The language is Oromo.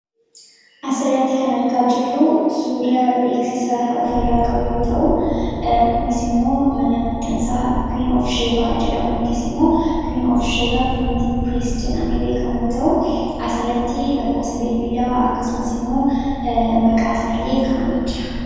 Asirratti kan argaa jirru suuraa beeksisa ofirraa qabu yoo ta'u, kunis immoo mana maxxansaa 'Queen of Sheba" jedhamuuti yookiin immoo 'queen of sheba printing press' jedhamee beekamu yoo ta'u, asirratti lakkoofsa bilbilaa akkasumas immoo maqaa isaallee kaa'amee jira.